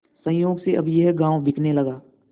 संयोग से अब यह गॉँव बिकने लगा